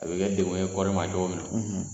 A bɛ kɛ dɛmɛ ye kɔɔri ma cogo min na.